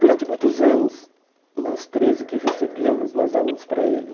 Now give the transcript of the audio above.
Durante muitos anos, nós três o que recebíamos, nós dávamos para ele.